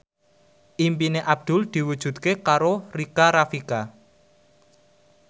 impine Abdul diwujudke karo Rika Rafika